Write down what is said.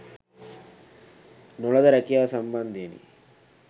නොලද රැකියාව සම්බන්ධයෙනි.